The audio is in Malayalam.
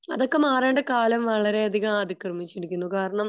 അതൊക്കെ മാറേണ്ട കാലം വളരെ അതികം അതിക്രമിചിരിക്കുന്നു കാരണം